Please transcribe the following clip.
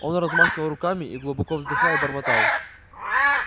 он размахивал руками и глубоко вздыхая бормотал